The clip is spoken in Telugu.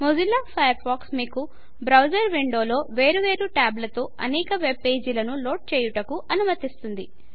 మొజిల్లా ఫయర్ ఫాక్స్ మీకు బ్రౌజర్ విండోలో వేరు వేరు టాబ్లతో అనేక వెబ్ పేజీలను లోడ్ చేయుటకు అనుమతిస్తుంది